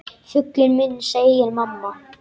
Fuglinn minn, segir mamma.